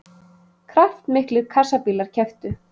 Kraftmiklir kassabílar kepptu